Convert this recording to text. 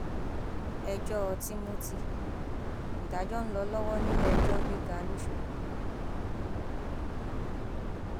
ẹjọ timothy ìdájọ ń lọ lọwọ níléẹjọ gíga lọsọgbó